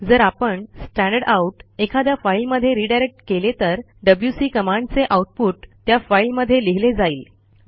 जर आपण स्टँडरडाउट एखाद्या फाईलमध्ये रिडायरेक्ट केले तर डब्ल्यूसी कमांडचे आऊटपुट त्या फाईलमध्ये लिहिले जाईल